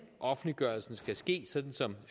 offentliggørelsen skal ske sådan som